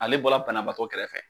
Ale bɔla banabaatɔ kɛrɛfɛ